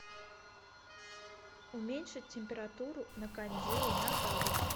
уменьшить температуру на кондее на градус